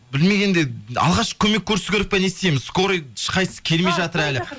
білмегенде алғашқы көмек көрсету керек па не істейміз скорый ешқайсысы келмей жатыр әлі